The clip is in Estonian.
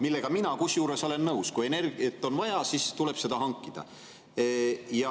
Kusjuures mina olen sellega nõus, sest kui energiat on vaja, siis tuleb seda hankida.